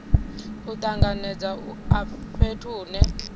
u tanganedza a fhethu hune